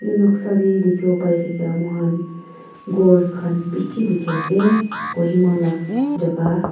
noksa dey dikhiwo paithakia muihan ghor khan bishi dikhiase Kohima la jaga.